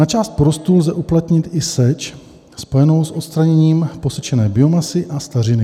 Na část porostů lze uplatnit i seč spojenou s odstraněním posečené biomasy a stařiny."